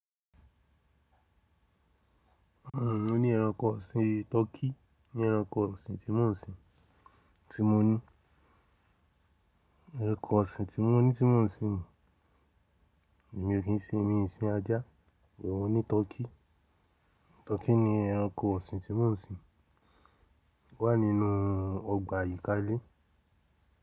Mo ní ẹranko ọ̀sìn tọkí mo ní ẹranko ọ̀sìn tí mo ń sin, tí mo ní. Ẹranko ọ̀sìn tí mò ní tí mo ń sin, èmi o kín ṣe èmi ń sin ajá, mo ní tọkí. Tọkí ni ẹranko ọ̀sìn tí n ò ń sin. Ó wà nínú ọgbà àyíká ilé.